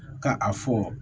Ka a fɔ